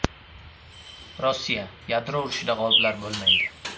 Rossiya: Yadro urushida g‘oliblar bo‘lmaydi.